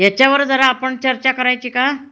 - याच्यावर जरा आपण चर्चा करायची का?